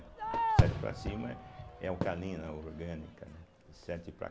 sete para cima é alcalina orgânica, né, de sete para